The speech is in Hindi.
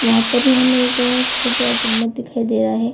वहां पर भी हमें एक बहुत बड़ा गुंबद दिखाई दे रहा है।